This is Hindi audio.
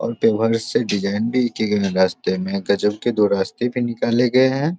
और से डिजाइन भी की गए है रास्ते में गजब के दो रास्ते भी निकाले गए हैं।